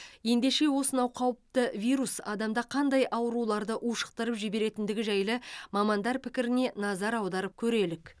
ендеше осынау қауіпті вирус адамда қандай ауруларды ушықтырып жіберетіндігі жайлы мамандар пікіріне назар аударып көрелік